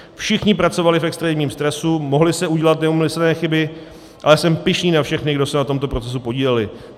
Všichni pracovali v extrémním stresu, mohly se udělat neúmyslné chyby, ale jsem pyšný na všechny, kdo se na tomto procesu podíleli.